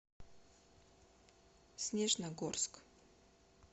снежногорск